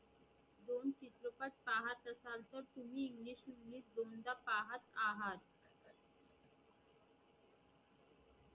तुम्ही English to English दोनदा पहात आहात